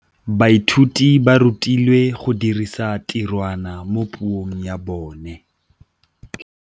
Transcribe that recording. Baithuti ba rutilwe go dirisa tirwa mo puong ya bone.